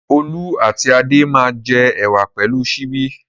Olú àti Adé máa jẹ ẹ̀wà pẹ̀lú ṣíbí.